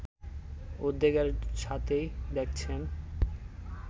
উদ্বেগের সাথেই দেখছেন